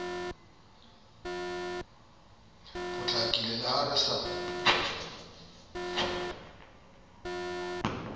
potlakile le ha re sa